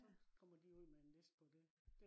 så kommer de ud med en liste på det